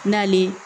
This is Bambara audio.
N'ale